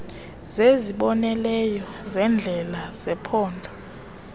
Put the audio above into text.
zezibonelelo zendlela zephondo